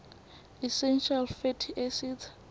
essential fatty acids